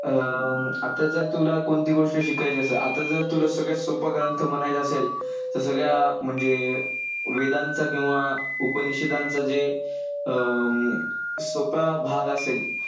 अं आता जर तुला कोणती गोष्ट शिकायची असेल, आता जर तुला सगळ्यात सोपा ग्रंथ म्हणायचं असेल तर सगळ्या म्हणजे वेदांचा किंवा उपनिषेधांचा जे अं सोपा भाग असेल,